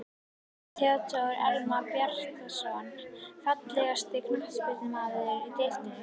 Theodór Elmar Bjarnason Fallegasti knattspyrnumaðurinn í deildinni?